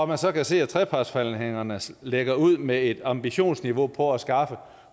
man så kan se at trepartsforhandlingerne lægger ud med et ambitionsniveau på at skaffe